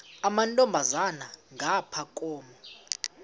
amantombazana ngapha koma